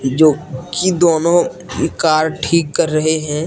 जो कि दोनो कार ठीक कर रहे है।